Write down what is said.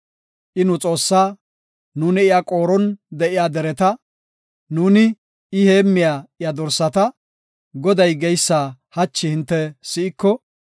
I nu Xoossaa; nuuni iya qooron de7iya dereta; nuuni I heemmiya iya dorsata. Goday geysa hachi hinte si7iko,